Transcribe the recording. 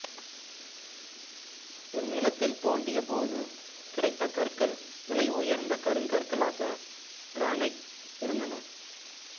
இந்நிலத்தில் தோண்டிய போது கிடைத்த கற்கள் விலை உயர்ந்த கருங்கற்களாக கிரானைட் இருந்தன